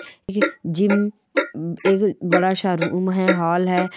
ये जिम एक बड़ा -सा रूम है हाल है।